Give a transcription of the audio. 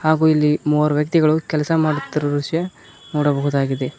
ಹಾಗೂ ಇಲ್ಲಿ ಮೂವರ್ ವ್ಯಕ್ತಿಗಳು ಕೆಲಸ ಮಾಡುತ್ತಿರುವ ದೃಶ್ಯ ನೋಡಬವುದಾಗಿದೆ.